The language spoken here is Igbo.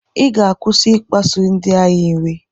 Ị ga-akwụsị ịkpasu di anyị iwe.